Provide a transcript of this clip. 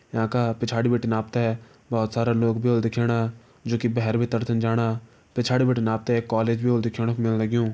यांका पिछाड़ी बिटिन आप ता बहोत सारा लोग भी होला दिखेणा जू की भैर भीतर छन जाणा पिछाड़ी बिटिन आप त एक कॉलेज भी होलु दिखेण कू मिलण लग्युं।